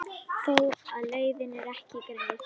Þó er leiðin ekki greið.